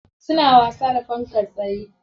Suna wasa da fankar tsaye.